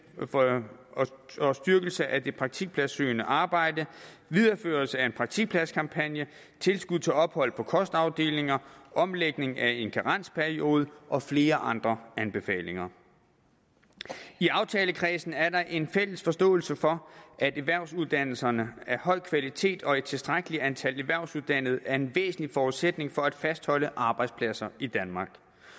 og styrkelse af det praktikpladssøgende arbejde videreførelse af en praktikpladskampagne tilskud til ophold på kostafdelinger omlægning af en karensperiode og flere andre anbefalinger i aftalekredsen er der en fælles forståelse for at erhvervsuddannelser af en høj kvalitet og et tilstrækkeligt antal erhvervsuddannede er en væsentlig forudsætning for at fastholde arbejdspladser i danmark